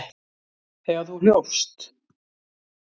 Þegar þú hljópst?